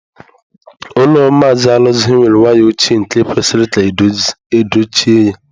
Ụlọ Maazị Alozie were waya ochie nke kwesịrị ka edochie ya.